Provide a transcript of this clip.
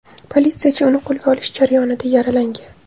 Politsiyachi uni qo‘lga olish jarayonida yaralagan.